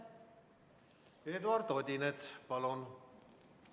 Eduard Odinets, palun!